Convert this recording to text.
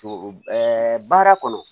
Ɛɛ baara kɔnɔ